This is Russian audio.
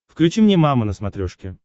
включи мне мама на смотрешке